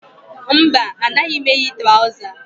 Mba, anaghị m eyi traụza